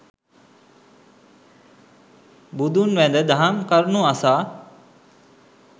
බුදුන් වැඳ දහම් කරුණු අසා